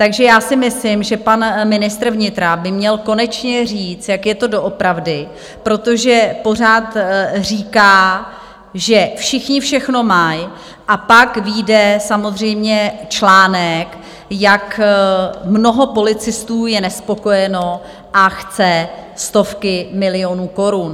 Takže já si myslím, že pan ministr vnitra by měl konečně říct, jak je to doopravdy, protože pořád říká, že všichni všechno mají, a pak vyjde samozřejmě článek, jak mnoho policistů je nespokojeno, a chce stovky milionů korun.